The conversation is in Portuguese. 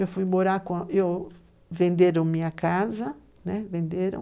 Eu fui morar com, eu, venderam minha casa, né, venderam.